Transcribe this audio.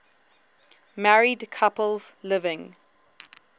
married couples living